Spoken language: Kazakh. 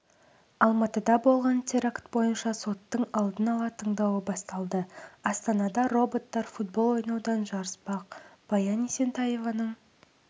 алматыда болған теракт бойынша соттың алдын ала тыңдауы басталды астанада роботтар футбол ойнаудан жарыспақ баян есентаеваның